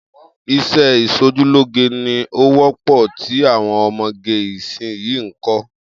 Is̩é̩ is̩ojúlóge ni ó wó̩pò̩ tí àwo̩n o̩mo̩ge ìsinyìí ń kó̩